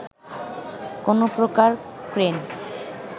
কোনো প্রকার ক্রেন